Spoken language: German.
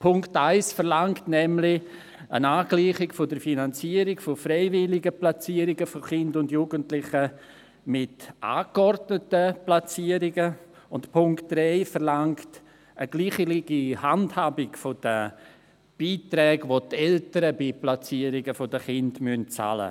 Punkt 1 verlangt nämlich eine Angleichung der Finanzierung von freiwilligen Platzierungen von Kindern und Jugendlichen mit angeordneten Platzierungen, und Punkt 3 verlangt eine gleiche Handhabung der Beiträge, welche die Eltern bei Platzierungen der Kinder bezahlen müssen.